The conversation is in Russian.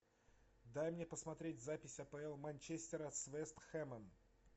дай мне посмотреть запись апл манчестера с вест хэмом